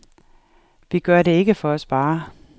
Vi gør det ikke for at spare.